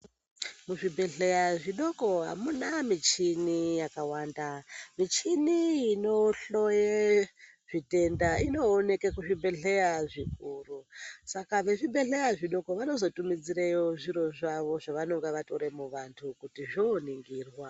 Muzvibhedhlera zvidoko hamuna michini yakawanda. Michini inohloye zvitenda inooneke kuzvibhedhlera zvikuru, saka vezvibhedhlera zvidoko vanozotumidzireyo zviro zvavo zvavanenge vatora muantu, kuti zvoningirwa.